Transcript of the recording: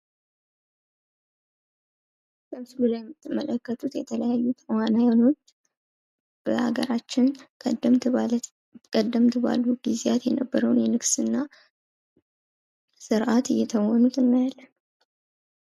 በምስሉ ላይ የምትመለከቱት የተለያዩ ተዋንያኖች በሀገራችን ቀደምት ባሉ ጊዜያት የነበረውን የንግስና ስርዓት እየተወኑት እናያለን ።